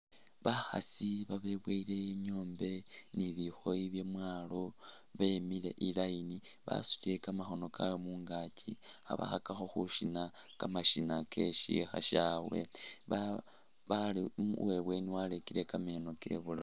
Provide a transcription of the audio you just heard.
Bakhaasi babeboyile nyombe ne bikhooyi bye mwaalo bemile i'line basutile kamakhoono kaabwe mungaaki, khabakhakakho khushina kamashina ke shikha syabwe bale uwe ibweeni warekire kameeno kewe ibulaafu.